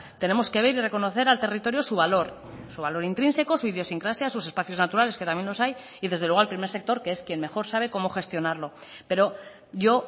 tenemos que ver y reconocer al territorio su valor su valor intrínseco su idiosincrasia sus espacios naturales que también los hay y desde luego al primer sector que es quien mejor sabe cómo gestionarlo pero yo